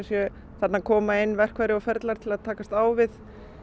þarna koma inn verkfæri og ferlar til að takast á við